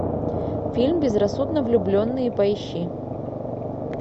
фильм безрассудно влюбленные поищи